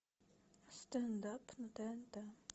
стендап на тнт